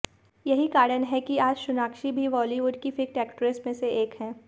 यही कारण है कि आज सोनाक्षी भी बॉलीवुड की फिट एक्ट्रेस में एक हैं